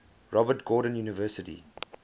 robert gordon university